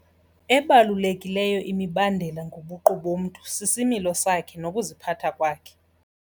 Ebalulekileyo imibandela ngobuqu bomntu sisimilo sakhe nokuziphatha kwakhe.